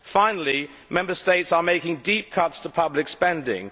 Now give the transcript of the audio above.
Finally, Member States are making deep cuts in public spending.